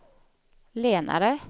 lenare